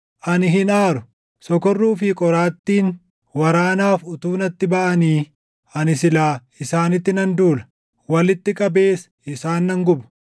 Ani hin aaru. Sokorruu fi qoraattiin waraanaaf utuu natti baʼanii! Ani silaa isaanitti nan duula; walitti qabees isaan nan guba.